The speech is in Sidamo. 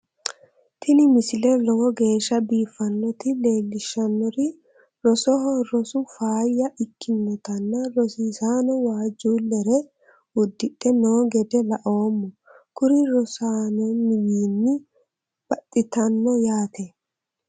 tini misile lowo geeshsha biiffannoti leellishshannori rosoho rosu faayya ikkinotanna rosiisano waajjuullelere uddidhe noo gede laoommo kuri rosaanonniwiinni baxxitanno yaate